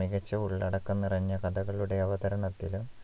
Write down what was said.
മികച്ച ഉള്ളടക്കം നിറഞ്ഞ കഥകളുടെ അവതരണത്തിലും